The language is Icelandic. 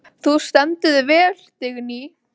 Þú stendur þig vel, Vigný!